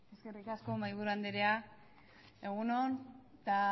eskerrik asko mahaiburu anderea egun on eta